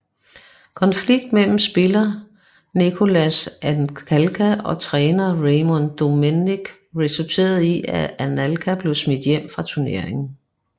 Konflikt mellem spiller Nicolas Anelka og træner Raymond Domenech resulterede i at Anelka blev smidt hjem fra tuneringen